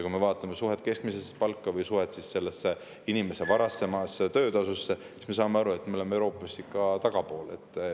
Kui me vaatame suhet keskmise palgaga või suhet inimese varasema töötasuga, siis me saame aru, et me oleme Euroopas ikka tagapool.